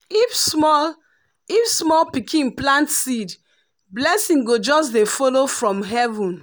if small if small pikin plant seed blessing go just dey follow from heaven.